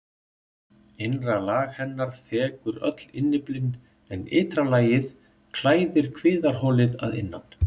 Innra lag hennar þekur öll innyflin en ytra lagið klæðir kviðarholið að innan.